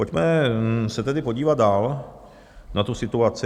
Pojďme se tedy podívat dál na tu situaci.